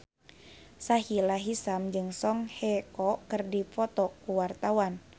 Sahila Hisyam jeung Song Hye Kyo keur dipoto ku wartawan